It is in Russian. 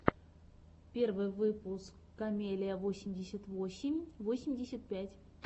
первый выпуск камеллиа восемьдесят восемь восемьдесят пять